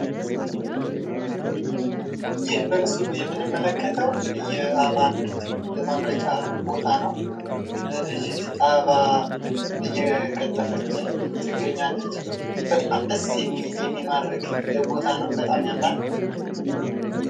ይህ በምስሉ ላይ የምንመለከተው የአበባ ምርት ማምረቻ ቦታ ነው ።ልጅት አበባ እየቀጠፈች ትገኛለች። በጣም ደስ የሚል ፣የሚማርክ ፣የሚያምር ቦታ ነው ።